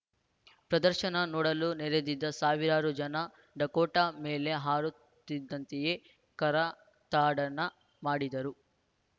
ಪ್ರದರ್ಶನ ನೋಡಲು ನೆರೆದಿದ್ದ ಸಾವಿರಾರು ಜನ ಡಕೋಟಾ ಮೇಲೆ ಹಾರುತ್ತಿದ್ದಂತೆಯೇ ಕರತಾಡನ ಮಾಡಿದರು